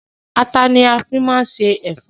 Àtà ni a máa fi se ẹ̀fọ́.